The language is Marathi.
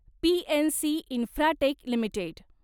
PNC Infratech limited